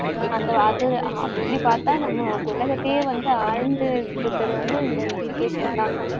அந்த அது, அப்படி பார்த்தா நம்ம உலகத்தையே வந்து ஆழ்ந்துட்டு இருக்கிறது வந்து இந்த education தான்